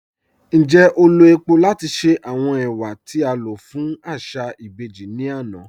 Ńjẹ́ o lọ̀ epò̀ lati ṣe awọn ẹwà ti a lọ fun aṣa ibèjì ni ana?